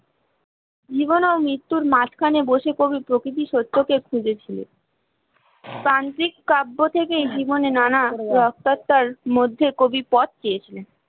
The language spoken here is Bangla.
জীবন ও মৃত্যুর মাঝখানে বসে কবি প্রকৃতি সত্যকে খুঁজে ছিল, প্রান্তিক কাব্য থেকেই জীবনে নানা রাস্তার মধ্যে কবি পথ পেয়েছিলে